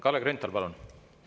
Kalle Grünthal, palun!